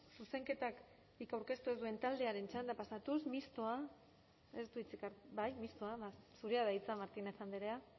zuzenketarik aurkeztu ez duen taldearen txandara pasatuz mistoa zurea da hitza martínez andrea